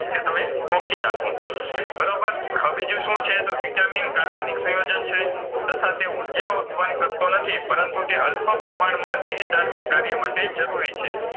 એ તમે ગોખી નાખો બરોબર હવે બીજું શુંછે તો Vitamin કાર્બનિક સયોજન છે તથા તે ઉર્જા ઉત્પન કરતો નથી પરંતુ તે અલ્પ પ્રમાણમાં દેહધાર્મિક કાર્યમાટે જરૂરી છે